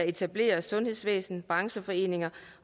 etablerede sundhedsvæsen brancheforeninger